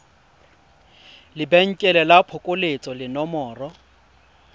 lebenkele la phokoletso le nomoro